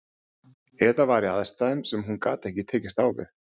Eða var í aðstæðum sem hún gat ekki tekist á við.